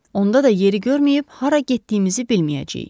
Onda da yeri görməyib hara getdiyimizi bilməyəcəyik.